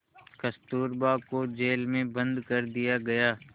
कस्तूरबा को जेल में बंद कर दिया गया